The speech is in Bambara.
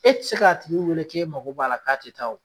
E t'i se k'a tigi wele k'e mago b'a la k'a te taa o